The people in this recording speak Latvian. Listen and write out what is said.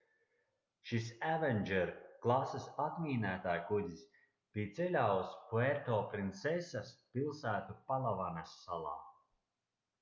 šis avenger klases atmīnētājkuģis bija ceļā uz puertoprinsesas pilsētu palavanas salā